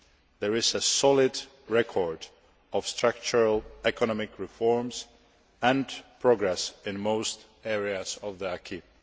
There is a solid record of structural economic reforms and progress in most areas of the acquis